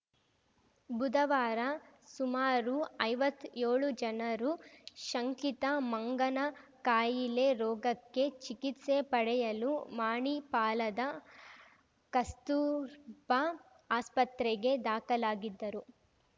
ಬುಧವಾರ ಸುಮಾರು ಐವತ್ ಯೋಳು ಜನರು ಶಂಕಿತ ಮಂಗನಕಾಯಿಲೆ ರೋಗಕ್ಕೆ ಚಿಕಿತ್ಸೆ ಪಡೆಯಲು ಮಣಿಪಾಲದ ಕಸ್ತೂರ್ಬಾ ಆಸ್ಪತ್ರೆಗೆ ದಾಖಲಾಗಿದ್ದರು